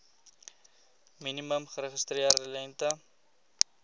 minimum geregistreerde lengte